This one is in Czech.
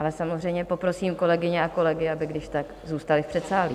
Ale samozřejmě poprosím kolegyně a kolegy, aby kdyžtak zůstali v předsálí.